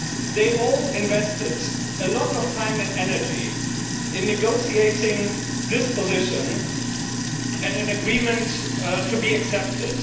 They all invested a lot of time and energy in negotiating this position and an agreement to be accepted.